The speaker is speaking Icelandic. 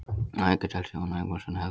Að auki telst Jón Ögmundsson helgur maður.